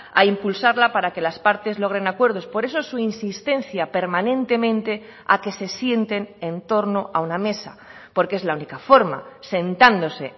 a impulsarla para que las partes logren acuerdos por eso su insistencia permanentemente a que se sienten en torno a una mesa porque es la única forma sentándose